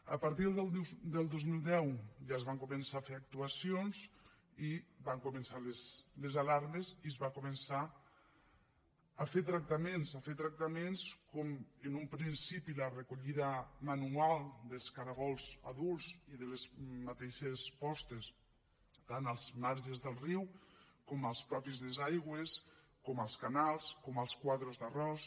a partir del dos mil deu ja es van començar a fer actuacions i van començar les alarmes i es va començar a fer tractaments a fer tractaments com en un principi la recollida manual dels caragols adults i de les mateixes postes tant als marges del riu com als mateixos desguassos com als canals com als quadres d’arròs